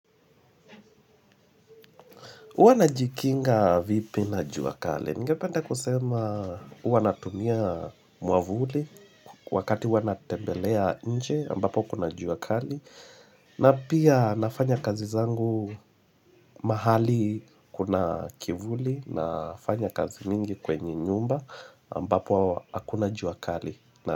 Uwa najikinga vipi na jua kali? Ningependa kusema uwa natumia muavuli wakati uwa natembelea nje ambapo kuna jua kali na pia nafanya kazi zangu mahali kuna kivuli na fanya kazi mingi kwenye nyumba ambapo akuna jua kali.